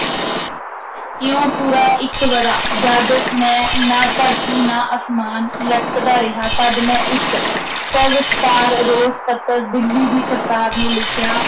ਇਉਂ ਪੂਰਾ ਇਕ ਵਰ੍ਹਾ ਜਦ ਮੈਂ, ਨਾ ਧਰਤੀ ਨਾ ਅਸਮਾਨ, ਲਟਕਦਾ ਰਿਹਾ ਤਦ ਮੈਂ ਇਕ ਸਵਿਸਤਾਰ ਰੋਸ-ਪੱਤ੍ਰ ਦਿੱਲੀ ਦੀ ਸਰਕਾਰ ਨੂੰ ਲਿਖਿਆ,